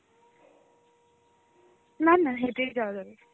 না না হেঁটেই যাওয়া যাবে.